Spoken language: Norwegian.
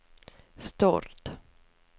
Stord